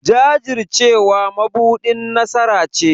Jajircewa mabuɗin nasara ce.